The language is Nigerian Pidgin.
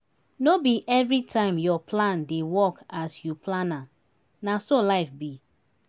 no be everytime your plan dey work as you plan am na so life be